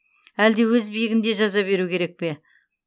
әлде өз биігінде жаза беру керек пе